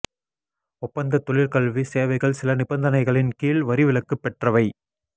ஒப்பந்தத் தொழிற்கல்வி சேவைகள் சில நிபந்தனைகளின் கீழ் வரி விலக்குப் பெற்றவை